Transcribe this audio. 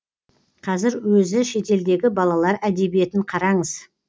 қазір өзі шетелдегі балалар әдебиетін қараңыз